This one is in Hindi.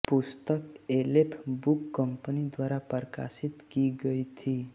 पुस्तक एलेफ बुक कंपनी द्वारा प्रकाशित की गई थी